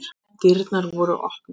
Dyrnar voru opnar.